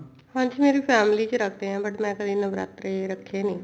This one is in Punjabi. ਹਾਂਜੀ ਮੇਰੀ family ਚ ਰੱਖਦੇ ਨੇ but ਮੈਂ ਕਦੇ ਨਵਰਾਤਰੇ ਰੱਖੇ ਨੀ